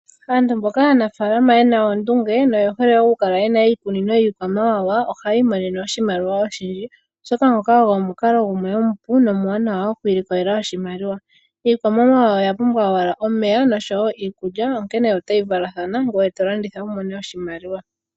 Aantu mboka aanafaalama yena oondunge na oyehole okukala yena iikunino yiikwamawawa ohaya imonene oshimaliwa oshindji oshoka ngoka ogo omukalo gumwe omupu na omwaanawa okwiilikolela oshimaliwa. Iikwamawawa oya pumbwa owala omeya nosho wo iikulya onkene otayi valathana ngoye tolanditha wumone oshimaliwa.